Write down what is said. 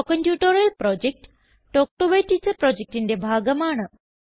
spoken tutorial project talk to a teacher പ്രൊജക്റ്റിന്റെ ഭാഗമാണ്